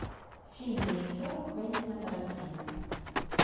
фильм режиссера квентина тарантино